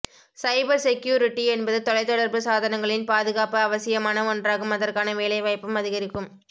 சைபர் security என்பது தொலைதொடர்பு சாதனங்களின் பாதுகாப்பு அவசியமான ஒன்றாகும் அதற்கான வேலைவாய்ப்பும் அதிகரிக்கும்